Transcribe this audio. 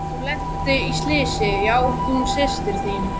Hún lenti í slysi, já, hún systir þín.